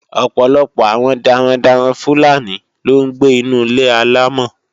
Ọ̀pọ̀lọpọ̀ àwọn darandaran Fúlàní ló ń gbé inu Ilé alọ́mọ̀.